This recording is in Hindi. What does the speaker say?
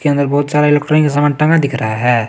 इश्के अंदर बहुत सारे लकड़ी का सामान टांगा दिख रहा है।